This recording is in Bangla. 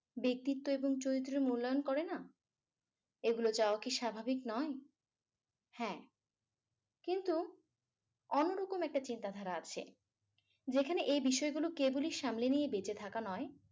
ব্যক্তিত্ব এবং চরিত্র মূল্যায়ন করেন এগুলো চাওয়া কি স্বাভাবিক নয় হ্যা কিন্তু অন্যরকম একটা চিন্তাধারা আছে যেখানে এই বিষয়গুলো কেবলই সামলে নিয়ে বেঁচে থাকা নয়